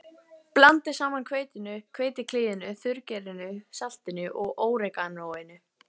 Blandið saman hveitinu, hveitiklíðinu, þurrgerinu, saltinu og óreganóinu.